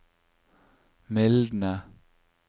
mildne